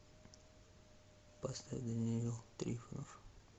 поставь даниил трифонов